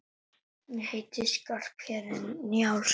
Ég heiti Skarphéðinn Njálsson!